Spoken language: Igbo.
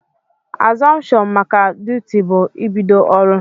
Azuption maka duti bu ibido ọrụ.